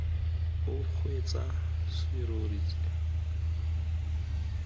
o kgweetsa serori se se